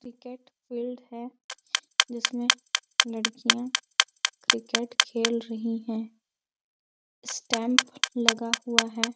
Cricket field है जिसमे लड़कियाँ क्रिकेट खेल रही है स्टैम्प लगा हुआ है।